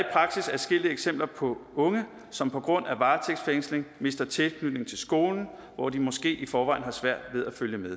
adskillige eksempler på unge som på grund af varetægtsfængsling mister tilknytning til skolen hvor de måske i forvejen har svært ved at følge med